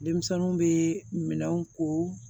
Denmisɛnninw bɛ minɛnw ko